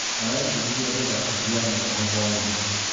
Arebundithia gũthaka piano o hwainĩ?